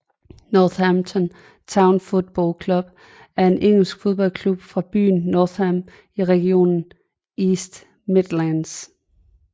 Northampton Town Football Club er en engelsk fodboldklub fra byen Northampton i regionen East Midlands